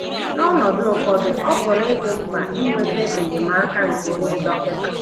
N’ọnọdụ ụfọdụ, ọ pụrụ ịdị mkpa inweta enyemaka nke onye dọkịta.